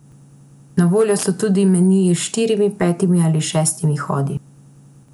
Na voljo so tudi meniji s štirimi, petimi ali šestimi hodi.